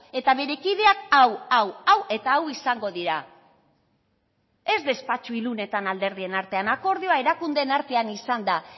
eta bere kideak hau hau hau eta hau izango dira ez despatxo ilunetan alderdien artean akordioa erakundeen artean izan da